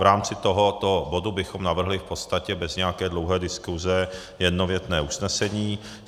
V rámci tohoto bodu bychom navrhli v podstatě bez nějaké dlouhé diskuse jednověté usnesení.